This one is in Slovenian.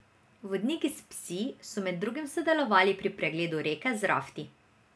Vodniki s psi so med drugim sodelovali pri pregledu reke z rafti.